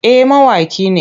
Eh mawaƙi ne.